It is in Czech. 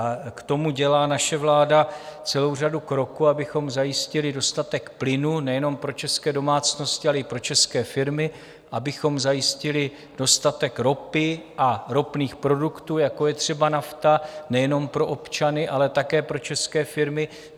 A k tomu dělá naše vláda celou řadu kroků, abychom zajistili dostatek plynu nejenom pro české domácnosti, ale i pro české firmy, abychom zajistili dostatek ropy a ropných produktů, jako je třeba nafta, nejenom pro občany, ale také pro české firmy.